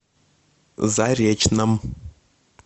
заречном